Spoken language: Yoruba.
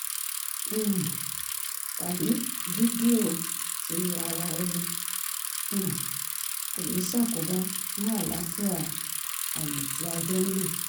um tàbí fídíò ti ara-ẹni um kò ní ṣàkóbá fún àlááfíà àyè tí a jọ ń lò